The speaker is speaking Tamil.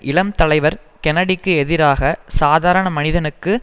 இளம் தலைவர் கென்னடிக்கு எதிராக சாதாரண மனிதனுக்கு